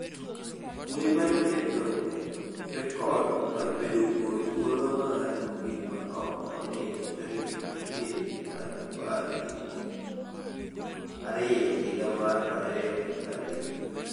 Wuoyi mane oketho rekod mar bedo kuom thuolo malach mogik ma ok onindo tarik 20 dwe mar apar gi ariyo higa mar 2020